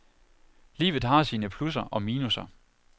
Livet har sine plusser og minusser.